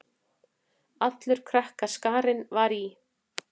Allur krakkaskarinn var í